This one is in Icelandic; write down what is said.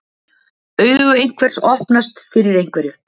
Augu einhvers opnast fyrir einhverju